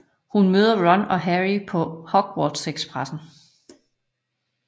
Hun møder Ron og Harry på Hogwartsekspressen